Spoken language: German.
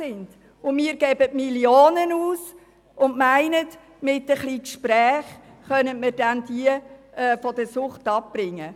Und wir geben Millionen von Franken aus und meinen, mit ein bisschen Führen von Gesprächen könnten wir die Leute von der Sucht wegbringen.